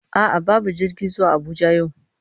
A'a babu jirgi zuwa Abuja yau,